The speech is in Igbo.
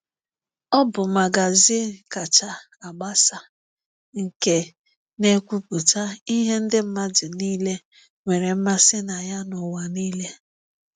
Ọ bụ magazin kacha gbasaa nke na-ekwupụta ihe ndị mmadụ niile nwere mmasị na ya n’ụwa niile!